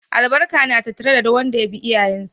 Albarka na tattare da wanda ya bi iyayensa.